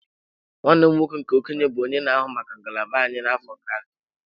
Nwanne m nwoke nke okenye bụ onye na-ahụ maka ngalaba anyị n'afọ gara aga.